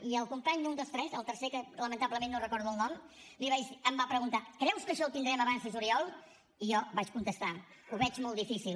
i el company un dels tres el tercer del qual lamentablement no en recordo el nom em va preguntar creus que això ho tindrem abans de juliol i jo vaig contestar ho veig molt difícil